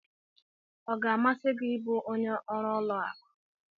Ọ ga-amasị gị ịbụ onye ọrụ ụlọ akụ?